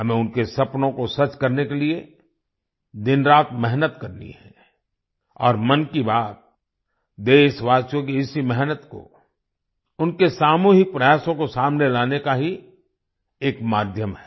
हमें उनके सपनों को सच करने के लिए दिनरात मेहनत करनी है और मन की बात देशवासियों की इसी मेहनत को उनके सामूहिक प्रयासों को सामने लाने का ही एक माध्यम है